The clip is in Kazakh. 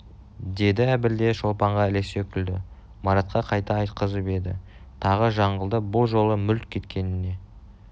деді әбіл де шолпанға ілесе күлді маратқа қайта айтқызып еді тағы жаңылды бұл жолы мүлт кеткеніне